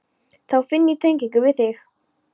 Þá finn ég tengingu við þig.